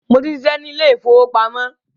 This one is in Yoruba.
Mo tí ń ṣiṣẹ́ ni ilé ìfowópamọ́